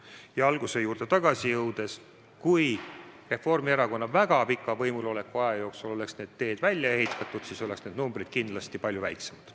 Ja oma jutu alguse juurde tagasi jõudes väidan, et kui Reformierakonna väga pika võimuloleku aja jooksul oleks need teed välja ehitatud, siis oleks need arvud kindlasti palju väiksemad.